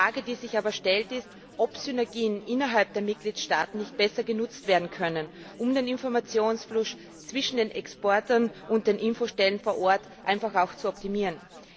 Die Frage, die sich aber stellt, ist, ob Synergien innerhalb der Mitgliedstaaten nicht besser genutzt werden können, um den Informationsfluss zwischen den Exporteuren und den Infostellen vor Ort zu optimieren.